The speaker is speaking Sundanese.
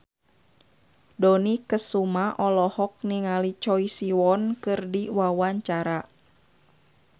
Dony Kesuma olohok ningali Choi Siwon keur diwawancara